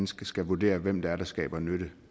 skal vurdere hvem det er der skaber nytte